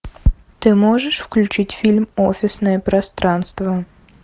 ты можешь включить фильм офисное пространство